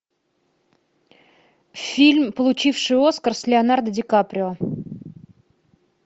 фильм получивший оскар с леонардо ди каприо